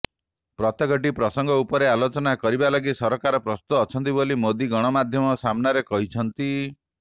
ପ୍ରତ୍ୟେକଟି ପ୍ରସଙ୍ଗ ଉପରେ ଆଲୋଚନା କରିବା ଲାଗି ସରକାର ପ୍ରସ୍ତୁତ ଅଛନ୍ତି ବୋଲି ମୋଦି ଗଣମାଧ୍ୟମ ସାମ୍ନାରେ କହିଛନ୍ତି